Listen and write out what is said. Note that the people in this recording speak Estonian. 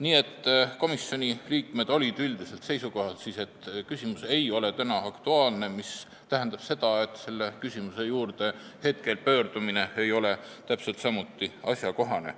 Nii et komisjoni liikmed olid üldiselt seisukohal, et küsimus ei ole aktuaalne, mis tähendab, et selle küsimuse juurde pöördumine ei ole praegu täpselt samuti asjakohane.